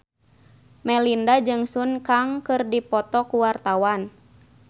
Melinda jeung Sun Kang keur dipoto ku wartawan